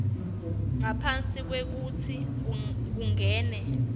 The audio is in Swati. ngaphambi kwekutsi kungene